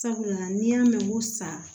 Sabula n'i y'a mɛn ko san